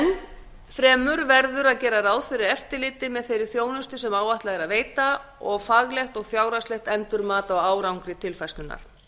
enn fremur verður að gera ráð fyrir eftirliti með þeirri þjónustu sem er áætlað að veita og faglegt og fjárhagslegt endurmat á árangri tilfærslunnar